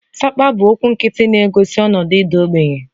Sapa 'bụ okwu nkịtị na-egosi ọnọdụ ịda ogbenye